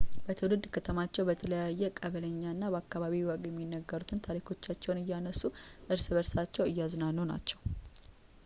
በትውልድ ከተማቸው በተለየ ቀበሊኛና በአካባቢው ወግ የሚነገሩትን ታሪኮቻቸውን እያነሱ እርስ በርሳቸውን እያዝናኑ ናቸው